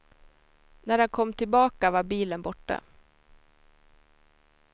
När han kom tillbaka var bilen borta.